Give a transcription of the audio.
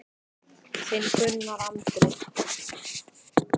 Þinn Gunnar Andri.